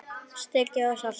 Sykrið og saltið.